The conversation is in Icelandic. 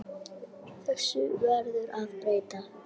Þessu verður að breyta.